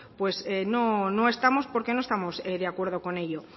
pues no estamos porque no estamos de acuerdo con ello